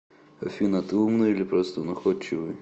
афина ты умный или просто находчивый